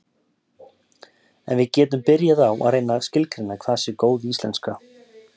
en við getum byrjað á að reyna að skilgreina hvað sé góð íslenska